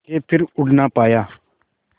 के फिर उड़ ना पाया